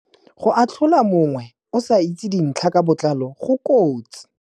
Go atlhola mongwe o sa itse dintlha ka botlalo go kotsi.